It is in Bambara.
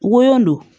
Wo don